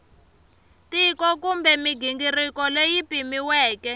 tiko kumbe mighingiriko leyi pimiweke